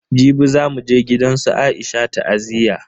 Jibi zamu je gidansu Aisha ta'aziyya.